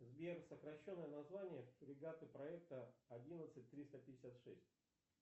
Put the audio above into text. сбер сокращенное название фрегаты проекта одиннадцать триста пятьдесят шесть